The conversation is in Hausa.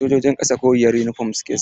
Sojojin ƙasa koriyar yunifom suke sa wa.